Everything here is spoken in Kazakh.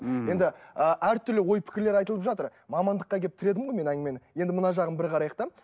мхм енді ы әртүрлі ой пікірлер айтылып жатыр мамандыққа келіп тіредім ғой мен әңгімені енді мына жағын бір қарайық та